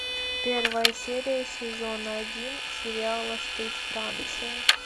первая серия сезона один сериала стыд франция